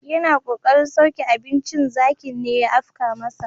Yana kokarin sauke abincin zakin ne ya afka masa.